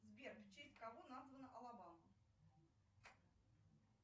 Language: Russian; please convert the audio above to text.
сбер в честь кого названа алабама